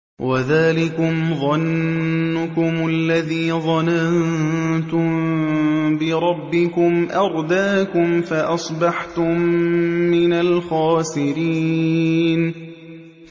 وَذَٰلِكُمْ ظَنُّكُمُ الَّذِي ظَنَنتُم بِرَبِّكُمْ أَرْدَاكُمْ فَأَصْبَحْتُم مِّنَ الْخَاسِرِينَ